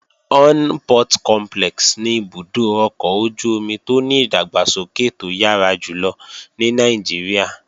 Onne Port Complex ni ibùdó ọkọ̀ ojú-omi tó ní ìdàgbàsókè tó yára jùlọ ní Nàìjíríà.